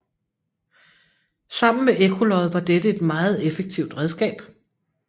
Sammen med ekkolod var dette et meget effektivt redskab